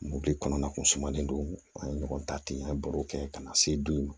Moto kɔnɔna kun sumalen don an ye ɲɔgɔn ta ten an ye baro kɛ ka na se du ma